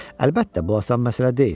Əlbəttə, bu asan məsələ deyil.